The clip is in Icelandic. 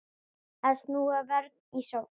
Að snúa vörn í sókn.